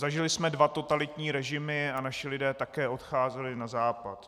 Zažili jsme dva totalitní režimy a naši lidé také odcházeli na Západ.